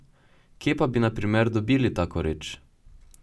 Kje pa bi na primer dobil tako reč?